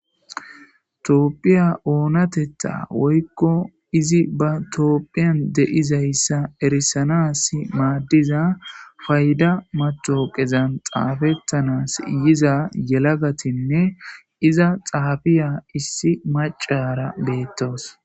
Toopphiya oonatetta woykko izi ba toopphiyan de'izayssa erisanas maaddiza payda matoqezan xaafettanas yiza yelagatinne iza xaabiya issi macara beettawus.